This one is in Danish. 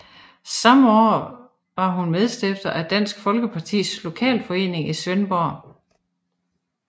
Samme år var hun medstifter af Dansk Folkepartis lokalforening i Svendborg